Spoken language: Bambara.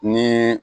Ni